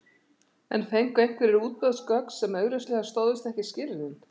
En fengu einhverjir útboðsgögn sem augljóslega stóðust ekki skilyrðin?